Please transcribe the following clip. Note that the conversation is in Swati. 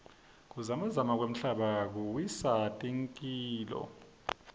kuzamazama kwemhlaba kuwisa takhiloo